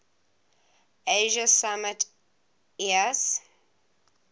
asia summit eas